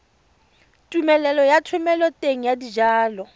tumelelo ya thomeloteng ya dijalo